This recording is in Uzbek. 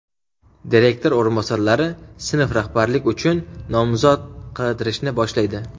Direktor o‘rinbosarlari sinf rahbarlik uchun nomzod qidirishni boshlaydi.